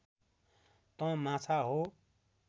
तँ माछा हो